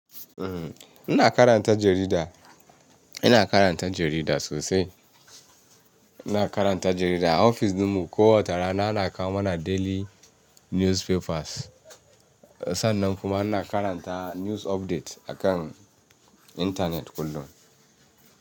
Uhm, ina karanta jarida, ina karanta jarida sosai. Ina karanta jarida a ofis ɗinmu. Ko wace rana ana kawo mana daily newspapers. Sannan kuma ina karanta news update akan internet kullum.